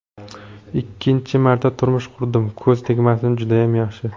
Ikkinchi marta turmush qurdim, ko‘z tegmasin judayam yaxshi.